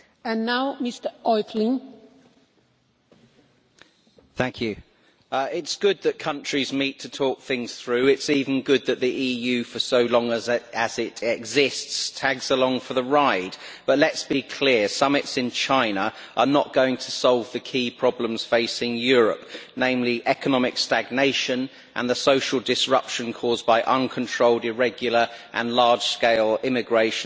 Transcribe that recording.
Madam President, it is good that countries meet to talk things through. It is even good that the EU for so long as it exists tags along for the ride. But let us be clear summits in China are not going to solve the key problems facing Europe, namely economic stagnation and the social disruption caused by uncontrolled, irregular and large-scale immigration from Africa and Asia.